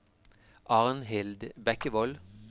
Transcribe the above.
Arnhild Bekkevold